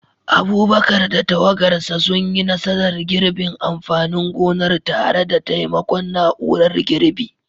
Abubakar da tawagarsa sun yi nasarar girbin amfanin gonar tare da taimakon na'urar girbi,